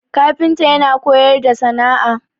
kafinta yana koyar da sana'a